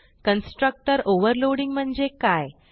constructor overloading म्हणजे काय